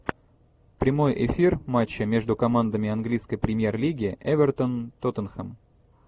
прямой эфир матча между командами английской премьер лиги эвертон тоттенхэм